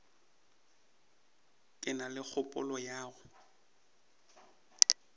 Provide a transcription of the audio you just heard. ke na kgopolo ya go